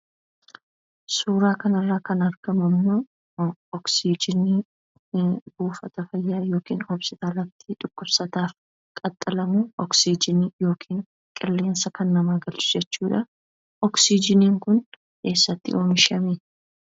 Suuraa kana irraa kan argamu ammoo "oksijinii" buufata fayyaa yookiin hospitaalatti dhukkubsataaf itti ka'amu, oksijinii yookiin qilleensa namaa kan galchu jechuudha. Oksijiniin kun eessatti oomishame?